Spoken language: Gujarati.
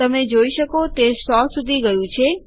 તમે જોઈ શકો છો તે સો સુધી ગયું છે